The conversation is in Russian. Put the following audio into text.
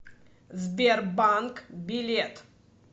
сбер банк билет